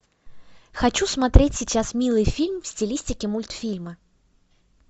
хочу смотреть сейчас милый фильм в стилистике мультфильмы